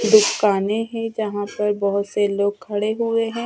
दुकानें है यहां पर बहुत से लोग खड़े हुए हैं।